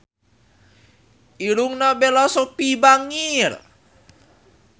Irungna Bella Shofie bangir